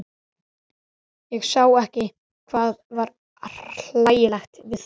Ég sá ekki hvað var hlægilegt við það.